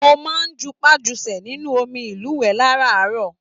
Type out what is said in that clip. Mo máa n jupajusẹ̀ nínú omí ilúwẹ láràárọ̀.